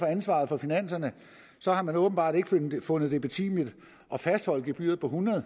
ansvaret for finanserne har man åbenbart ikke fundet det betimeligt at fastholde gebyret på hundrede